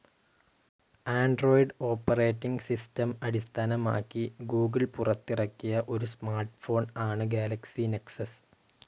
Android operating system അടിസ്ഥാനമാക്കി Google പുറത്തിറക്കിയ ഒരു സ്മാർട്ട്‌ ഫോൺ ആണ് ഗാലക്സി നെക്സസ്.